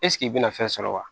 i bɛna fɛn sɔrɔ wa